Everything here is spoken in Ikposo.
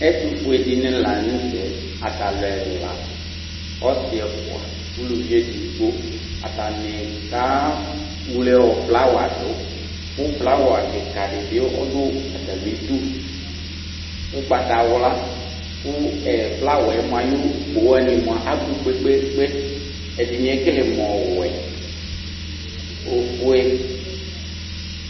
Ɛtufue dini la nu tɛ atalu ɛla ɔsi ɛfua uluvi edigbo atani keɣle flawa du ku flawa kika dibi du atamidu ugbatawla ku flawa yɛ ayu ugbo wani abu kpekpe kpe ɛdini ekele mu ɔwɛ ofue